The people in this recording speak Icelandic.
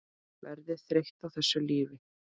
Verður þreytt á þessu lífi.